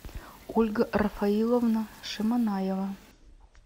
ольга рафаиловна шаманаева